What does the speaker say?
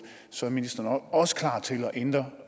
så er ministeren også klar til at ændre